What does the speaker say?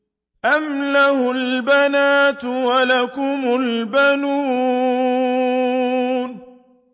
أَمْ لَهُ الْبَنَاتُ وَلَكُمُ الْبَنُونَ